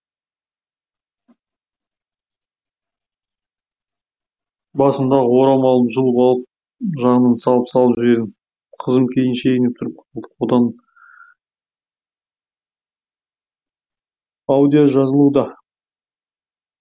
басындағы орамалын жұлып алып жағынан салып салып жібердім қызым кейін шегініп тұрып қалды одан аудио жазылуда